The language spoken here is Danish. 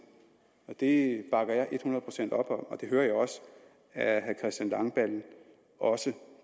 og det bakker jeg et hundrede procent op om og det hører jeg at herre christian langballe også